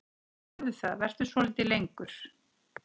Gerðu það, vertu svolítið lengur.